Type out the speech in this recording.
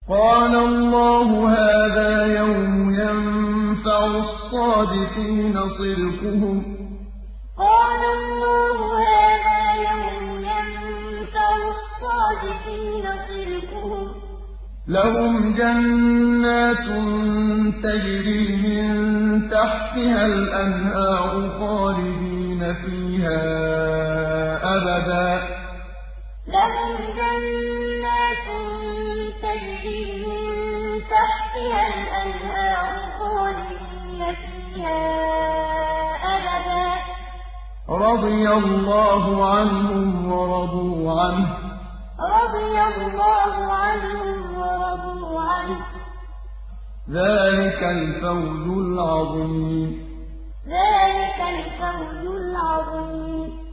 قَالَ اللَّهُ هَٰذَا يَوْمُ يَنفَعُ الصَّادِقِينَ صِدْقُهُمْ ۚ لَهُمْ جَنَّاتٌ تَجْرِي مِن تَحْتِهَا الْأَنْهَارُ خَالِدِينَ فِيهَا أَبَدًا ۚ رَّضِيَ اللَّهُ عَنْهُمْ وَرَضُوا عَنْهُ ۚ ذَٰلِكَ الْفَوْزُ الْعَظِيمُ قَالَ اللَّهُ هَٰذَا يَوْمُ يَنفَعُ الصَّادِقِينَ صِدْقُهُمْ ۚ لَهُمْ جَنَّاتٌ تَجْرِي مِن تَحْتِهَا الْأَنْهَارُ خَالِدِينَ فِيهَا أَبَدًا ۚ رَّضِيَ اللَّهُ عَنْهُمْ وَرَضُوا عَنْهُ ۚ ذَٰلِكَ الْفَوْزُ الْعَظِيمُ